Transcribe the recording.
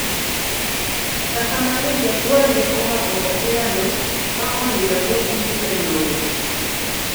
kata kamano jagol ne omako opira no ma onindo go piny e lowo.